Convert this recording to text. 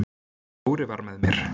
Dóri var með mér.